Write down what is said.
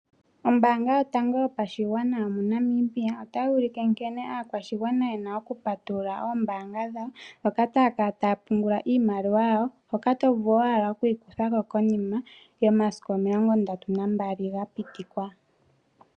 Ombaanga yotango yopashigwana yomoNamibia otayi ulike nkene aakwashigwana ye na okupatulula oombaanga dhawo moka taya kala taya pungula iimaliwa yawo hoka to vulu owala oku yi kutha ko konima yomasiku o32 ga pita.